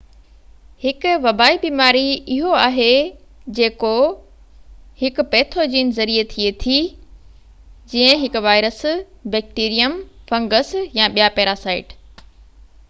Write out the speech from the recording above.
هڪ وبائي بيماري اهو آهي جيڪو هڪ پيٿوجين ذريعي ٿئي ٿي جيئن هڪ وائرس بيڪٽيريم فنگس يا ٻيا پيراسائيٽ